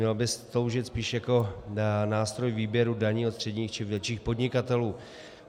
Měla by sloužit spíš jako nástroj výběru daní od středních či větších podnikatelů.